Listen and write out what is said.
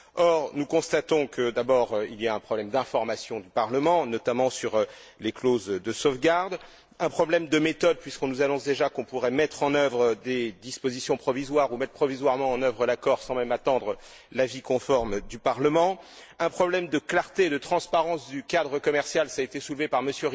Or, nous constatons que, tout d'abord, il y a un problème d'information du Parlement, notamment sur les clauses de sauvegarde, un problème de méthode ensuite puisqu'on nous annonce déjà qu'on pourrait mettre en œuvre des dispositions provisoires ou mettre provisoirement en œuvre l'accord sans même attendre l'avis conforme du Parlement, et un problème de clarté et de transparence du cadre commercial enfin ça a été soulevé par M.